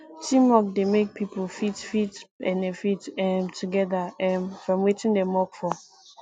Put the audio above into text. teamwork de make pipo fit fit benefit um together um from wetin dem work for